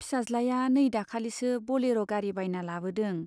फिसाज्लाया नै दाखालिसो बलेर' गारि बायना लाबोदों।